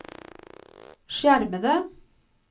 skjermede